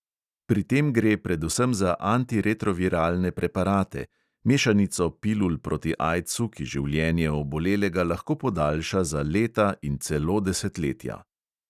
Pri tem gre predvsem za antiretroviralne preparate, mešanico pilul proti aidsu, ki življenje obolelega lahko podaljša za leta in celo desetletja.